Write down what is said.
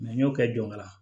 n y'o kɛ jɔyɔrɔ la